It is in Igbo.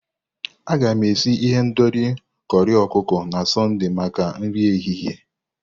Aga m esi ihendori corri ọkụkọ na Sọnde maka nri ehihie.